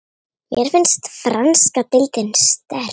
Mér finnst franska deildin sterk.